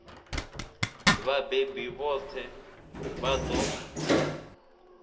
vhabebi vhoṱhe i a ṱo